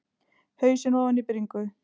Hausinn ofan í bringu.